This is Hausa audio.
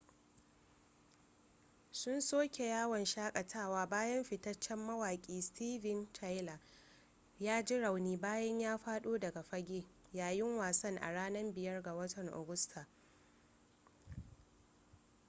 sun soke yawon shakatawa bayan fitaccen mawaƙi steven tyler ya ji rauni bayan ya faɗo daga fage yayin wasan a ranar 5 ga watan agusta